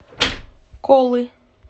колы